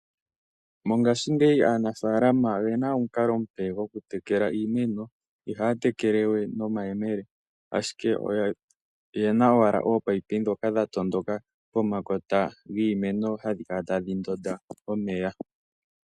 Mongashingeyi aanafalama oyena omukalo omupe gwokutekela iimeno, ihaatekelewe nomayemele ashike oyena owala oopayipi ndhoka dhatsa pomakota giimeno ndhoka hadhi kala tadhi ndonda omeya.